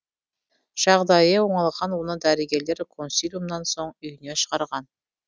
жағдайы оңалған оны дәрігерлер консилиумнан соң үйіне шығарған